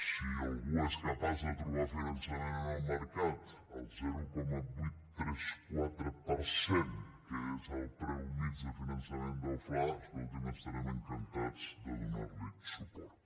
si algú és capaç de trobar finançament en el mercat al zero coma vuit cents i trenta quatre per cent que és el preu mitjà de finançament del fla escoltin estarem encantats de donar li suport